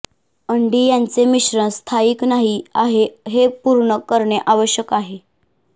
अंडी यांचे मिश्रण स्थायिक नाही आहे हे पूर्ण करणे आवश्यक आहे